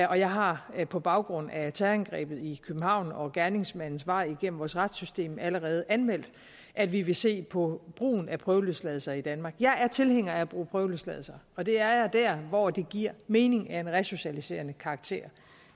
jeg har på baggrund af terrorangrebet i københavn og gerningsmandens vej igennem vores retssystem allerede anmeldt at vi vil se på brugen af prøveløsladelser i danmark jeg er tilhænger af at bruge prøveløsladelser og det er jeg dér hvor det giver mening og har en resocialiserende karakter